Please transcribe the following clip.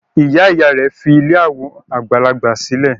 Ìyá-ìyá rẹ̀ fi ilé àwọn àgbàlagbà sílẹ̀.